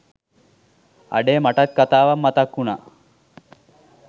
අඩේ මටත් කතාවක් මතක් උනා